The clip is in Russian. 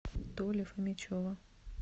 толи фомичева